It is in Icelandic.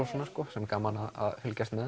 sem er gaman að fylgjast með